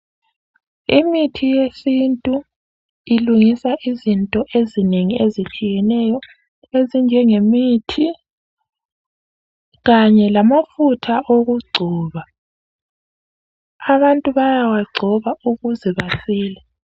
Imithi yesintu ilungisa izinto ezinengi ezitshiyeneyo ezinjengemithi kanye lamafutha okugcoba , abantu bayawagcoba ukuze basile